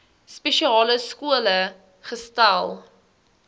spesiale skole gesetel